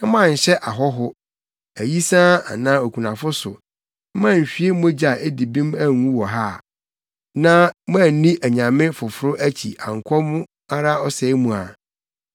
sɛ moanhyɛ ɔhɔho, ayisaa anaa okunafo so, na moanhwie mogya a edi bem angu wɔ ha, na moanni anyame foforo akyi ankɔ mo ara ɔsɛe mu a,